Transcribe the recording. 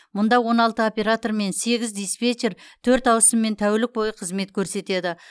мұнда он алты оператор мен сегіз диспетчер төрт ауысыммен тәулік бойы қызмет көрсетеді